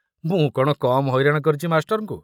ମୁଁ କଣ କମ ହଇରାଣ କରିଛି ମାଷ୍ଟରଙ୍କୁ?